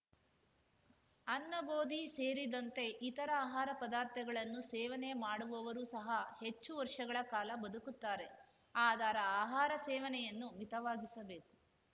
ಅನ್ನ ಗೋದಿ ಸೇರಿದಂತೆ ಇತರ ಆಹಾರ ಪದಾರ್ಥಗಳನ್ನು ಸೇವನೆ ಮಾಡುವವರು ಸಹ ಹೆಚ್ಚು ವರ್ಷಗಳ ಕಾಲ ಬದುಕುತ್ತಾರೆ ಆದರ ಆಹಾರ ಸೇವನೆಯನ್ನು ಮಿತವಾಗಿಸಬೇಕು